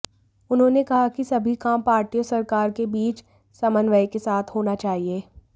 उन्होंने कहा कि सभी काम पार्टी और सरकार के बीच समन्वय के साथ होना चाहिए